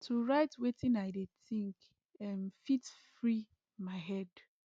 to write wetin i dey think um fit free my head